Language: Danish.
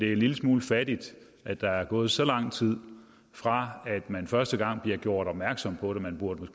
er en lille smule fattigt at der er gået så lang tid fra man første gang blev gjort opmærksom på det man burde